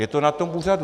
Je to na tom úřadu.